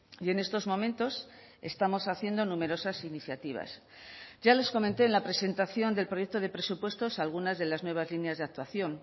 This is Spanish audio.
y en estos momentos estamos haciendo numerosas iniciativas ya les comenté en la presentación del proyecto de presupuestos algunas de las nuevas líneas de actuación